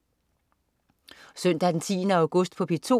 Søndag den 10. august - P2: